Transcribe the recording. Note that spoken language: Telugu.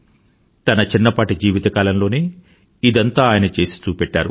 తన చిన్నపాటి జీవితకాలంలోనే ఇదంతా ఆయన చేసి చూపెట్టారు